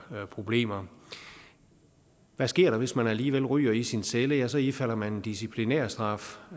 problemer hvad sker der hvis man alligevel ryger i sin celle ja så ifalder man en disciplinærstraf